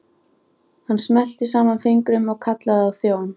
Hann smellti saman fingrum og kallaði á þjón.